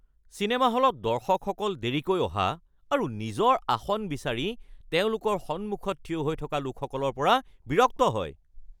cinema হলত দৰ্শকসকল দেৰিকৈ অহা আৰু নিজৰ আসন বিচাৰি তেওঁলোকৰ সন্মুখত থিয় হৈ থকা লোকসকলৰ পৰা বিৰক্ত হয়৷